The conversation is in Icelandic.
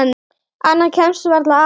Annað kemst varla að.